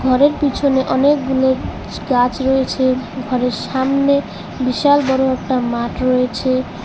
ঘরের পিছনে অনেকগুলো গাছ রয়েছে ঘরের সামনে বিশাল বড় একটা মাঠ রয়েছে।